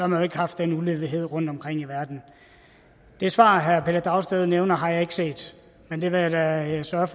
man jo ikke haft den ulighed rundtomkring i verden det svar herre pelle dragsted nævner har jeg ikke set men det vil jeg da sørge